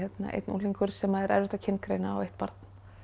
einn unglingur sem er erfitt að kyngreina og eitt barn